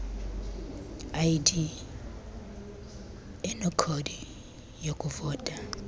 id enekhodi yokuvota